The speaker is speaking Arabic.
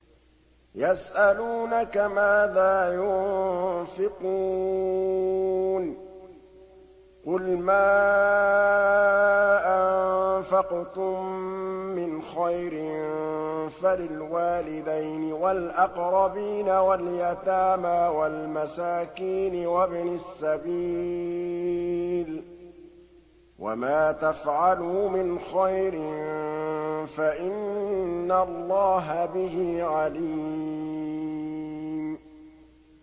يَسْأَلُونَكَ مَاذَا يُنفِقُونَ ۖ قُلْ مَا أَنفَقْتُم مِّنْ خَيْرٍ فَلِلْوَالِدَيْنِ وَالْأَقْرَبِينَ وَالْيَتَامَىٰ وَالْمَسَاكِينِ وَابْنِ السَّبِيلِ ۗ وَمَا تَفْعَلُوا مِنْ خَيْرٍ فَإِنَّ اللَّهَ بِهِ عَلِيمٌ